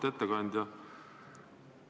Auväärt ettekandja!